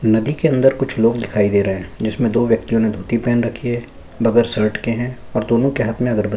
नदी के अंदर कुछ लोग दिखाई दे रहै है जिसमें दो व्यक्ति ने धोती पहन रखी है बगैर शर्ट के है और दोनों के हाथ में अगरबती --